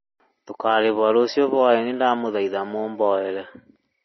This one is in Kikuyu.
Tũkarĩhwo rũciũ hwai-inĩ ndamũthaitha mũhoere